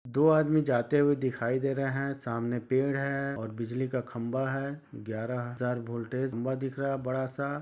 दो आदमी जाते हुए दिखाई दे रहे है सामने एक पेड़ है और बिज्ली का खम्बा है ग्यारा हज़ार वोल्टेज खंबा दिख रहा बड़ा सा।